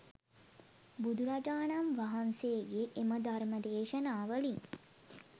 බුදුරජාණන් වහන්සේගේ එම ධර්ම දේශනා වලින්